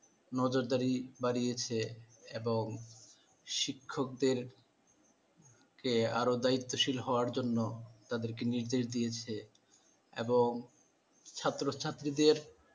নজরদারি বাড়িয়েছে এবং শিক্ষকদেরকে আরও দায়িত্বশীল হওয়ার জন্য তাদেরকে নির্দেশ দিয়েছে। এবং ছাত্রছাত্রীদের